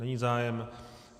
Není zájem.